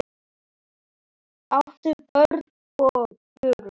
áttu börn og burur